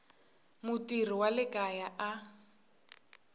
mutirhi wa le kaya a